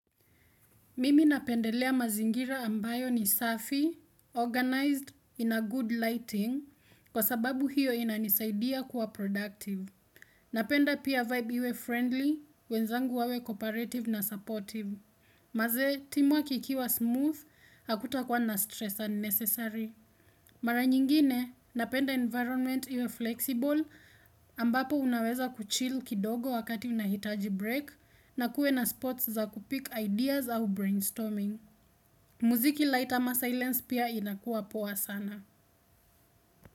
Mimi napendelea mazingira ambayo ni safi, organized in a good lighting, kwa sababu hiyo inanisaidia kuwa productive. Napenda pia vibe iwe friendly, wenzangu wawe cooperative na supportive. Manze, timu wakikua smooth, hakuta kwa na stress unnecessary. Mara nyingine, napenda environment iwe flexible, ambapo unaweza kuchill kidogo wakati unahitaji break, na kuwe na spots za kupick ideas au brainstorming. Muziki light ama silence pia inakuwa poa sana.